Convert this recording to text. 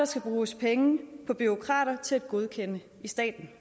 skal bruges penge på bureaukrater til at godkende i staten